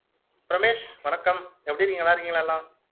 ரமேஷ் வணக்கம் எப்படி இருக்கீங்க நல்லா இருக்கீங்களா எல்லம்